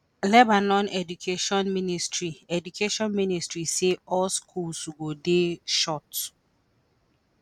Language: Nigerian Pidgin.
lebanon education ministry education ministry say all schools go dey shut.